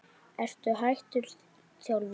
Ertu hættur þjálfun?